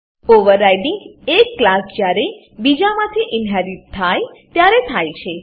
overriding એક class જ્યારે બીજામાંથી ઇનહેરીટ થાય ત્યારે થાય છે